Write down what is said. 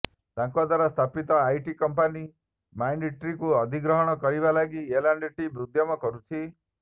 ତାଙ୍କ ଦ୍ୱାରା ସ୍ଥାପିତ ଆଇଟି କମ୍ପାନୀ ମାଇଣ୍ଡଟ୍ରିକୁ ଅଧିଗ୍ରହଣ କରିବା ଲାଗି ଏଲ ଆଣ୍ଡ ଟି ଉଦ୍ୟମ କରୁଛି